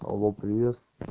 алло привет